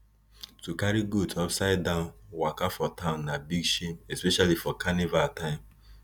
to carry goat upsidedown waka for town na big shame especially for carnival time